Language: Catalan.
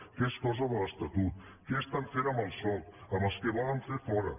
què és cosa de l’estatut què estan fent amb el soc amb els que volen fer fora